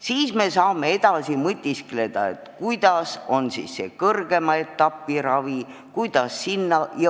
Siis me saame edasi mõtiskleda, kuidas jääb kõrgema etapi raviga.